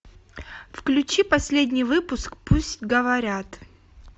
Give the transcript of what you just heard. включи последний выпуск пусть говорят